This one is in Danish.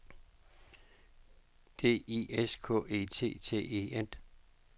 D I S K E T T E N